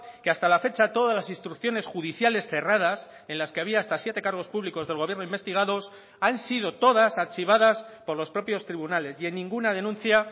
que hasta la fecha todas las instrucciones judiciales cerradas en las que había hasta siete cargos públicos del gobierno investigados han sido todas archivadas por los propios tribunales y en ninguna denuncia